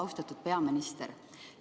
Austatud peaminister!